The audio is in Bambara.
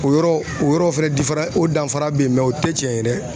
O yɔrɔ o yɔrɔ fɛnɛ o danfara bɛ yen mɛ o tɛ tiɲɛ ye dɛ